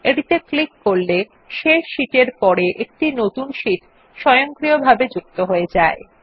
এটিত়ে click করলে এই সারির শেষ শীট এর পরে একটি নতুন শীট স্বয়ংক্রিয়ভাবে যুক্ত হয়ে যায়